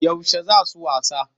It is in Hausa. Yaushe za su wasa?